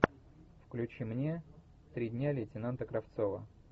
включи мне три дня лейтенанта кравцова